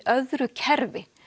öðru kerfi